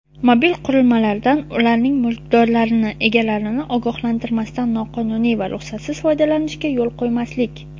mobil qurilmalardan ularning mulkdorlarini (egalarini) ogohlantirmasdan noqonuniy va ruxsatsiz foydalanishga yo‘l qo‘ymaslik;.